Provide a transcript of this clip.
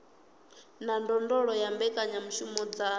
na ndondolo ya mbekanyamushumo dza